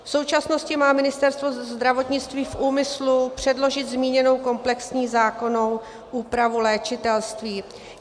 V současnosti má Ministerstvo zdravotnictví v úmyslu předložit zmíněnou komplexní zákonnou úpravu léčitelství.